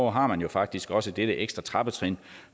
har man jo faktisk også dette ekstra trappetrin